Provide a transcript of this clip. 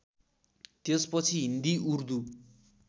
त्यसपछि हिन्दी उर्दू